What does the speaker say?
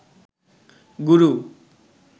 গুরু